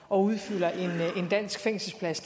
og udfylder en dansk fængselsplads